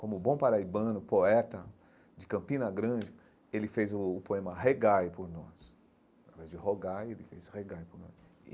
Como bom paraibano, poeta de Campina Grande, ele fez o poema Regai por nós, através de Rogai, ele fez Regai por nós.